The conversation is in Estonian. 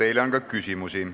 Teile on ka küsimusi.